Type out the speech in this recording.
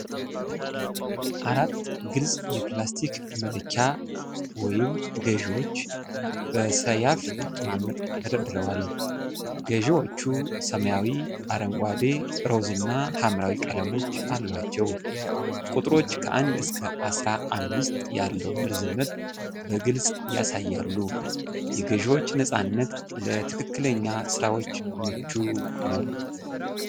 አራት ግልጽ የፕላስቲክ መለኪያ (ገዢዎች) በሰያፍ አቀማመጥ ተደርድረዋል። ገዢዎቹ ሰማያዊ፣ አረንጓዴ፣ ሮዝ እና ሐምራዊ ቀለሞች አሏቸው፤ ቁጥሮች ከአንድ እስከ አስራ አምስት ያለውን ርዝመት በግልጽ ያሳያሉ። የገዢዎች ነፃነት ለትክክለኛ ስራዎች ምቹ ነው።